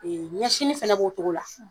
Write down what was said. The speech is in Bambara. ɲɛsini fɛnɛ b'o cogo la .